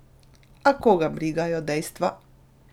A koga brigajo dejstva!